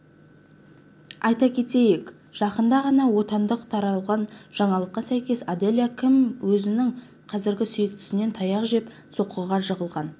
айта кетейік жақында ғана отандық таралған жаңалыққа сәйкес аделя ким өзінің қазіргі сүйіктісінен таяқ жеп соққыға жығылған